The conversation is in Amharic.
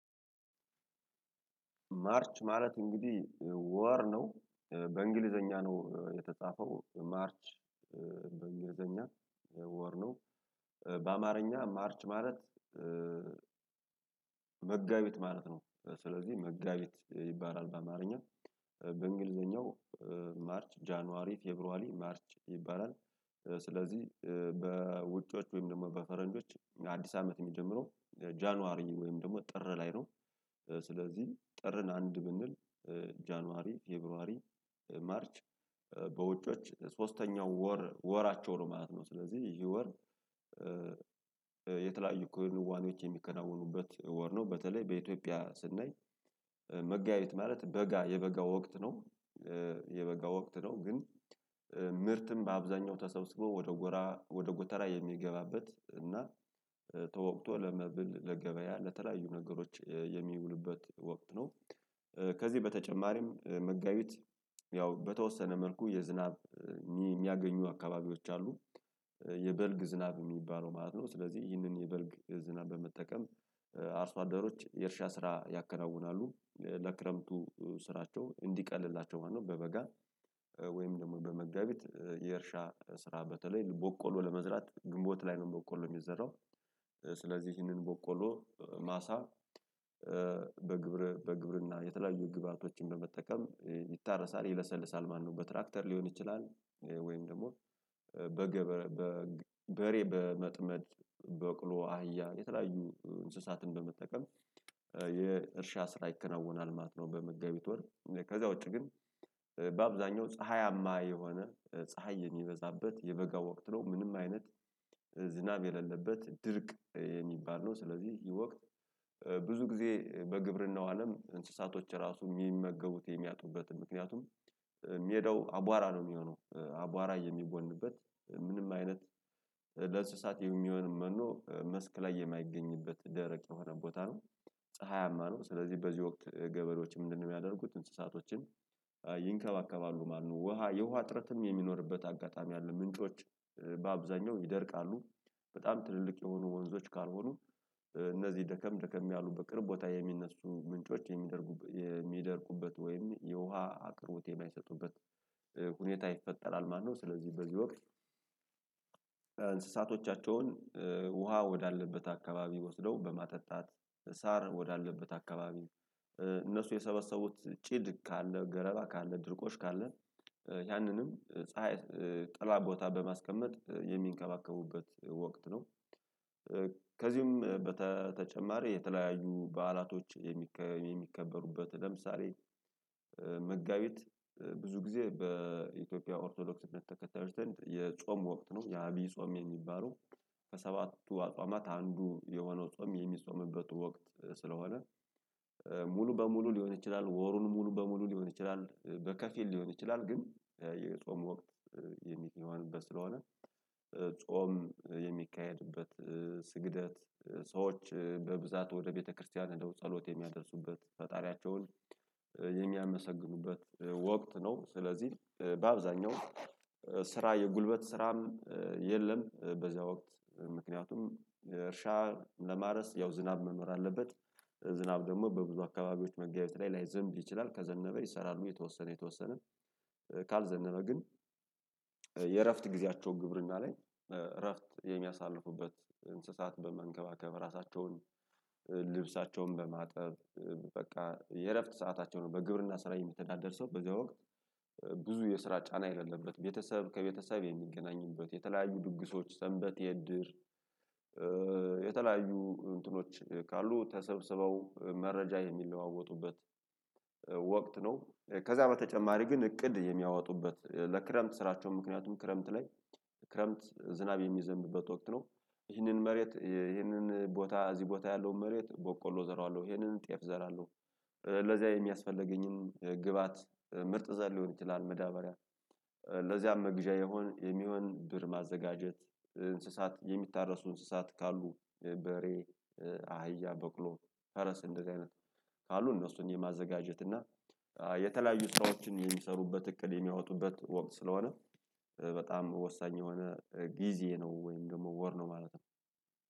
ማርች ማለት እንግዲህ ወር ነው በእንግሊዘኛ ነው የተጻፈው ማርች በእንግሊዘኛ ወር ነው በአማርኛ ማርች ማለት መጋቢት ማለት ነው። ስለዚህ መጋቢት ይባላል በአማርኛ በእንግሊዘኛው ማርች ጃንዋሪ ፌብሩዋሪ ማርች ይባላል። ስለዚህ ወይም ደሞ በፈረንጆች አዲስ አመት ሚጀምረው ጃንዋሪ ወይም ደሞ ጥር ላይ ነው። ስለዚህ ጥርን አንድ ብንል ጃንዋሪ ፌብሩዋሪ ማርች በውጮች ሶስተኛው ወር ወራቸው ነው ማለት ነው። ስለዚህ ይህ ወር የተለያዩ ክን ዋኔዎች የሚከናወኑበት ወር ነው። በተለይ በኢትዮጵያ ስናይ መጋቢት ማለት በጋ የበጋ ወቅት ነው። የበጋ ወቅት ነው ግን ምርትም በአብዛኛው ተሰብስበው ወደ ጎራ ወደ ጎተራ የሚገባበት እናት ተወቅቶ ለመብል ለገበያ ለተለያዩ ነገሮች የሚውሉበት ወቅት ነው። ከዚህ በተጨማሪም መጋቢት ያው በተወሰነ መልኩ የዝናብ ሚያገኙ አካባቢዎች አሉ የበልግ ዝናብ ሚባለው ማለት ነው። ስለዚህ ይህንን የበልግ ዝናብ በመጠቀም አርሶ አደሮች የእርሻ ስራ ያከናውናሉ ለክረምቱ ስራቸው እንዲቀልላቸው ማለት ነው። በበጋ ወይም ደሞ በመጋቢት የእርሻ ስራ በተለይ ቦቆሎ ለመዝራት ግንቦት ላይ ነው ቦቆሎ ሚዘራው። ስለዚህ ይህንን ቦቆሎ ማሳ በግብረ በግብርና የተለያዩ ግብአቶችን በመጠቀም ይታረሳል ይለሰልሳል ማለትነው። በትራክተር ሊሆን ይችላል ወይም ደሞ በገበረ በሬ በመጥመድ በቅሎ አህያ የተለያዩ እንስሳትን በመጠቀም የእርሻ ስራ ይከነውናል ማለት ነው። በመጋቢት ወር ከዛ ውጪ ግን በአብዛኛው ፀሀያማ የሆነ ፀሀይ የሚበዛበት የበጋ ወቅት ነው ምንም አይነት ዝናብ የለለበት ድርቅ የሚባል ነው። ስለዚህ ይህ ወቅት ብዙ ግዜ በግብርናው አለም እንስሳቶች ራሱ ሚመገቡት የሚያጡበትን ምክንያቱም ሚዳው አቧራ ነው ሚሆነው አቧራ የሚቦንበት ምንም አይነት ለእንስሳት የሚሆን መኖ መስክ ላይ የማይገኝበት ደረቅ የሆነ ቦታ ነው። ፀሀያማ ነው ስለዚህ በዚህ ወቅት ገበሬዎች ምንድነው? ሚያደርጉት እንስሳቶችን ይንከባከባሉ ማለት ነው። ውሃ የውሃ እጥረትም የሚኖርበት አጋጣሚ አለ ምንጮች በአብዛኛው ይደርቃሉ በጣም ትልልቅ የሆኑ ወንዞች ካልሆኑ እነዚህ ደከም ደከም ያሉ በቅርብ ቦታ የሚነሱ ምንጮች የሚደርቁበት የሚደርቁበት ወይም የውሃ አቅርቦት የማይሰጡበት ሁኔታ ይፈጠራል። ማለትነው ስለዚህ በዚህ ወቅት እንስሳቶቻቸውን ውሃ ወዳለበት አካባቢ ወስደው በማጠጣት ሳር ወዳለበት አካባቢ እነሱ የሰበሰቡት ጭድ ካለ ገለባ ካለ ድርቆሽ ካለ ያንንም ፀሀይ ጥላ ቦታ በማስቀመጥ የሚንከባከቡበት ወቅት ነው። ከዚውም በተጨማሪ የተለያዩ በዓላቶች የሚከበሩት ለምሳሌ መጋቢት ብዙ ግዜ በኢትዮጵያ ኦርቶዶክስ እምነት ተከታዮች ዘንድ የጾም ወቅት ነው የአብይ ጾም የሚባለው። ከሰባቱ አጽዋማት አንዱ የሆነው ጾም የሚጾምበት ወቅት ስለሆነ ሙሉ በሙሉ ሊሆን ይችላል ወሩን ሙሉ በሙሉ ሊሆን ይችላል በከፊል ሊሆን ይችላል ግን የጾም ወቅት የሚሆንበት ስለሆነ ጾም የሚካሄድበት ስግደት ሰዎች በብዛት ወደ ቤተክርስቲያን ህደው ጸሎት የሚያደርሱበት ፈጣሪያቸውን የሚያመሰግኑበት ወቅት ነው። ስለዚህ በአብዛኛው ስራ የጉልበት ስራም የለም። በዝያ ወቅት ምክንያቱም እርሻ ለማረስ ያው ዝናብ መኖር አለበት ዝናብ የለለበት ድርቅ የሚባል ነው። ስለዚህ ይህ ወቅት ብዙ ግዜ በግብርናው አለም እንስሳቶች ራሱ የሚመገቡት የሚያጡበትን ምክንያቱም ሚዳው አቧራ ነው ሚሆነው አቧራ የሚጎንበት ምንም አይነት ካልዘነበ ግን የእረፍት ጊዜያቸው ግብርና ላይ እረፍት የሚያሳልፉበት እንስሳት በመንከባከብ ራሳቸውን ልብሳቸውን በማጠብ በቃ የእረፍት ሰዓታቸው ነው። በግብርና ስራ የሚተዳደር ሰው በዚያ ወቅት ብዙ የስራ ጫና የሌለበት ቤተሰብ ከቤተሰብ የሚገናኝበት የተለያዩ ድግሶች ሰንበቴ እድር የተለያዩ እንትኖች ካሉ ተሰብስበው መረጃ የሚለዋወጡበት ወቅት ነው። ከዛ በተጨማሪ ግን እቅድ የሚያወጡበት ለክረምት ስራቸው ምክንያቱም ክረምት ላይ ክረምት ዝናብ የሚዘንብበት ወቅት ነው። ይህንን መሬት ይህንን ቦታ እዚህ ቦታ ያለውን መሬት ቦቆሎ እዘራዋለሁ ይህንን ጤፍ እዘራለሁ። ለዚያ የሚያስፈልገኝም ግብአት ምርጥ ዘር ሊሆን ይችላል መዳበሪያ ለዚያም መግዣ የሆነ የሚሆን ብር ማዘጋጀት እንስሳት የሚታረሱ እንስሳት ካሉ በሬ አህያ በቅሎ ፈረስ እንደዚህ አይነት ካሉ እነሱን የማዘጋጀት እና የተለያዩ ስራዎችን የሚሰሩበት እቅድ የሚያወጡበት ወቅት ስለሆነ በጣም ወሳኝ የሆነ ጊዜ ነው። ወይም ደሞ ወር ነው ማለት ነው።